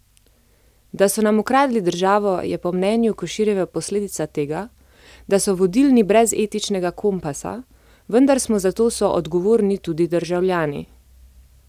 Da so nam ukradli državo, je po mnenju Koširjeve posledica tega, da so vodilni brez etičnega kompasa, vendar smo za to soodgovorni tudi državljani.